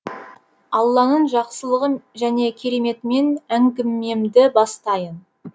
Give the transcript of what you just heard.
алланың жақсылығы және кереметімен әңгімемді бастаймын